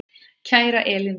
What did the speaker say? Kæra Elín Rut.